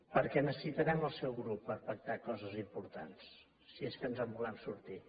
perquè necessitarem el seu grup per pactar coses importants si és que ens en volem sortir